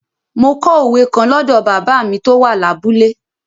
Mo kọ òwe kan lọ́dọ̀ bàbá mi tó wà lábúlé.